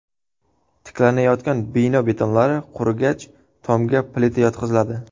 Tiklanayotgan bino betonlari qurigach, tomga plita yotqiziladi.